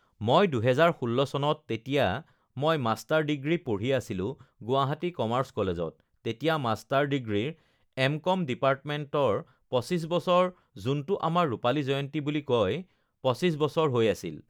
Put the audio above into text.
মই দুহেজাৰ ষোল্ল চনত তেতিয়া মই মাষ্টাৰ ডিগ্ৰী পঢ়ি আছিলোঁ গুৱাহাটী কমাৰ্চ কলেজত তেতিয়া মাষ্টাৰ ডিগ্ৰীৰ এম কম ডিপাৰ্টমেন্টৰ পঁচিছ বছৰ যোনটো আমাৰ ৰূপালী জয়ন্তী বুলি কয়, পঁচিছ বছৰ ugh হৈ আছিল